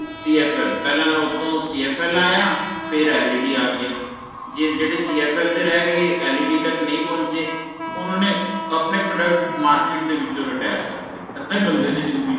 CFL ਪਹਿਲਾ ਤਾ ਓਥੋਂ CFL ਆਇਆ ਫਿਏ Led ਆ ਗਿਆ ਜੇ ਜਿਹੜੇ CFL ਤੇ ਰਹਿ ਗਏ led ਤਕ ਨਹੀਂ ਪਹੁੰਚੇ ਓਹਨਾ ਨੇ ਆਪਣੇ Product Market ਦੇ ਵਿੱਚੋ retire ਕਰਤੇ ਅੱਧੇ ਬੰਦੇ ਦੀ ਜਿੰਦਗੀ